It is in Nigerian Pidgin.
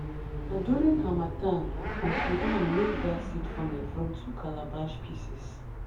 na during harmattan uncle dan make that seed funnel from two calabash pieces."